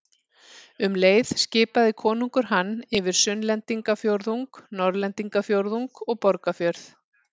Um leið skipaði konungur hann yfir Sunnlendingafjórðung, Norðlendingafjórðung og Borgarfjörð.